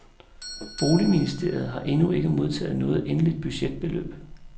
Boligministeriet har endnu ikke modtaget noget egentligt budgetbeløb.